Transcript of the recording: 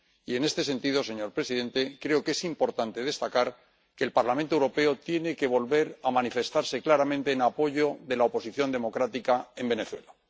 y en este sentido, señor presidente, creo que es importante destacar que el Parlamento Europeo tiene que volver a manifestarse claramente en apoyo de la oposición democrática en Venezuela.